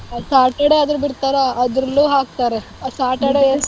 Saturday ಆದ್ರೂ ಬಿಡ್ತಾರಾ ಅದ್ರಲ್ಲೂ ಹಾಕ್ತಾರೆ Saturday .